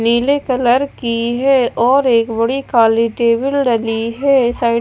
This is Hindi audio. नीले कलर की है और एक बड़ी काली टेबल डली है। साइड --